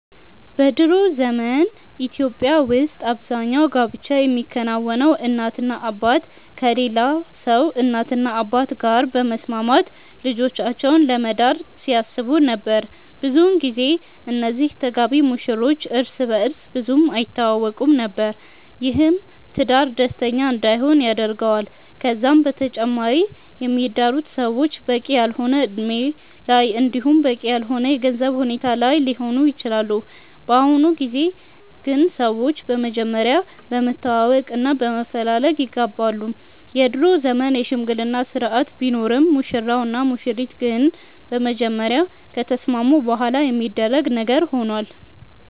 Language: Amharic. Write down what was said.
በ ድሮ ዘመን በኢትዮጵያ ውስጥ አብዛኛው ጋብቻ የሚከናወነው እናትና አባት ከሌላ ሰው እናትና አባት ጋር በመስማማት ልጆቻቸውን ለመዳር ሲያስቡ ነበር። ብዙን ጊዜ እነዚህ ተጋቢ ሙሽሮች እርስ በእርስ ብዙም አይተዋወቁም ነበር። ይህም ትዳር ደስተኛ እንዳይሆን ያደርገዋል። ከዛም በተጨማሪ የሚዳሩት ሰዎች በቂ ያልሆነ እድሜ ላይ እንዲሁም በቂ ያልሆነ የገንዘብ ሁኔታ ላይ ሊሆኑ ይችላሉ። በአሁኑ ጊዜ ግን ሰዎች በመጀመሪያ በመተዋወቅ እና በመፈላለግ ይጋባሉ። የድሮ ዘመን የሽምግልና ስርአት ቢኖርም ሙሽራው እና ሙሽሪት ግን በመጀመሪያ ከተስማሙ በኋላ የሚደረግ ነገር ሆኗል።